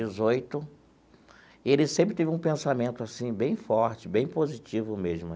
e ele sempre teve um pensamento assim bem forte, bem positivo mesmo.